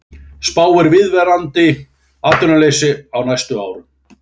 Spáir viðvarandi atvinnuleysi á næstu árum